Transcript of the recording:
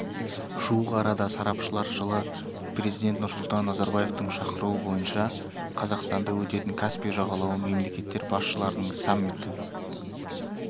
жуық арада сарапшылар жылы президент нұрсұлтан назарбаевтың шақыруы бойынша қазақстанда өтетін каспий жағалауы мемлекеттер басшыларының саммиті